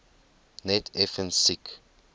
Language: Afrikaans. net effens siek